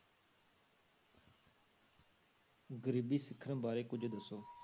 ਗ਼ਰੀਬੀ ਸਿੱਖਣ ਬਾਰੇ ਕੁੱਝ ਦੱਸੋ